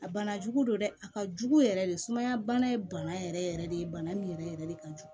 A bana jugu don dɛ a ka jugu yɛrɛ de sumaya bana ye bana yɛrɛ yɛrɛ de ye bana min yɛrɛ yɛrɛ de ka jugu